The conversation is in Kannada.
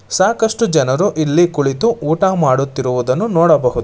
ಸಾಕಷ್ಟು ಜನರು ಇಲ್ಲಿ ಕುಳಿತು ಊಟ ಮಾಡುತ್ತಿರುವುದನ್ನು ನೋಡಬಹುದು.